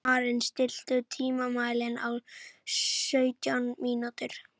Maren, stilltu tímamælinn á sautján mínútur.